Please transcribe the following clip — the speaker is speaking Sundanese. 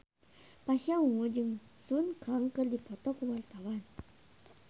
Pasha Ungu jeung Sun Kang keur dipoto ku wartawan